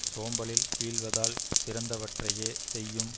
சோம்பலில் வீழ்வதால் சிறந்தவற்றையேச் செய்யும்